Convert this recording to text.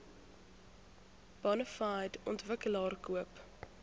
bonafide ontwikkelaar koop